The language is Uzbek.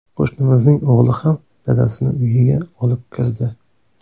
Qo‘shnimizning o‘g‘li ham dadasini uyiga olib kirdi.